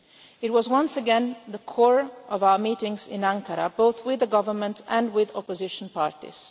It was once again at the core of our meetings in Ankara, both with the government and with opposition parties.